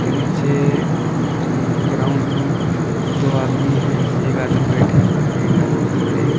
नीचे अ अम्म ग्राउंड में दो आदमी हैं एक आदमी बैठे हुए हैं एक आदमी खड़े हैं।